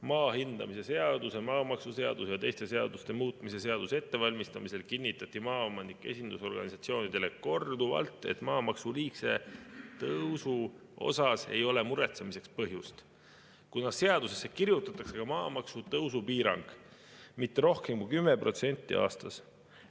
Maa hindamise seaduse, maamaksuseaduse ja teiste seaduste muutmise seaduse ettevalmistamisel kinnitati maaomanike esindusorganisatsioonidele korduvalt, et maamaksu liigse tõusu pärast ei ole muretsemiseks põhjust, kuna seadusesse kirjutatakse ka maamaksu tõusu piirang: mitte rohkem kui 10% aastas.